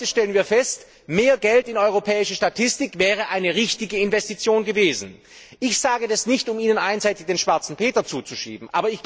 Heute stellen wir fest, mehr Geld in europäische Statistik wäre eine richtige Investition gewesen. Ich sage das nicht, um Ihnen einseitig den Schwarzen Peter zuzuschieben.